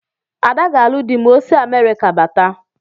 Ada ga-alụ dị ma o si Amerịka bata.